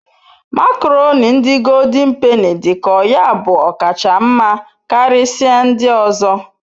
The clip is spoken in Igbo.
makoroni ndi goldin peni dik'oya bu okacha nma Karisia ndi ozo